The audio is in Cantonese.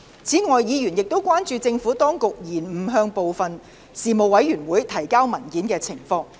此外，議員亦關注政府當局延誤向部分事務委員會提交文件的情況。